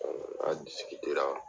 an ra.